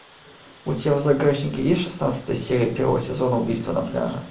у тебя в загашнике есть шестнадцатая серия первого сезона убийство на пляже